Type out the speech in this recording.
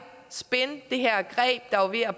spin det her greb der var ved at